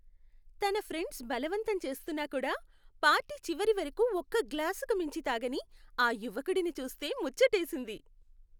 తన ఫ్రెండ్స్ బలవంతం చేస్తున్నా కూడా పార్టీ చివరి వరకు ఒక్క గ్లాసుకి మించి తాగని ఆ యువకుడిని చూస్తే ముచ్చటేసింది.